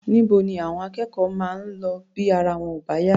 Níbo ni àwọn akẹ́kọ̀ọ́ máa ń lọ bí ara wọn ò bá yá?